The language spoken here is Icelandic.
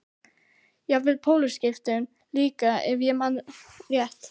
Jafnvel pólskiptum líka ef ég man rétt.